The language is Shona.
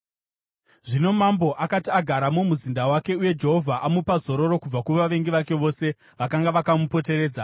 Zvino mambo akati agara mumuzinda wake uye Jehovha amupa zororo kubva kuvavengi vake vose vakanga vakamupoteredza,